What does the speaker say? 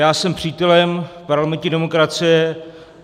Já jsem přítelem parlamentní demokracie.